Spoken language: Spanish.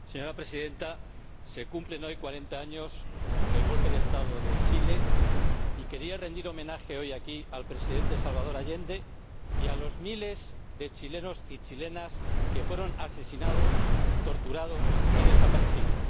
Señora Presidenta, se cumplen hoy 40 años del golpe de Estado en Chile, y quería rendir homenaje, hoy aquí, al Presidente Salvador Allende y a los miles de chilenos y chilenas asesinados, torturados y desaparecidos.